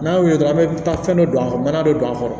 N'a y'u ye dɔrɔn an bɛ taa fɛn dɔ don a kɔrɔ mana dɔ don a kɔrɔ